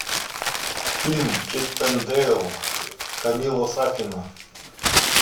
фильм чиппендейл камила сафина